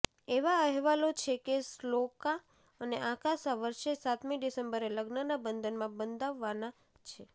એવા અહેવાલો છે કે શ્લોકા અને આકાશ આ વર્ષે સાતમી ડિસેમ્બરે લગ્નના બંધનમાં બંધાવવાના છે